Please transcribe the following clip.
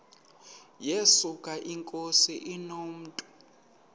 yesuka inkosi inomntu